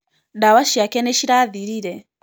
Ndawa ciake nĩ cirathirire.